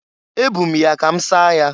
Ebu m ya ka m saa ya.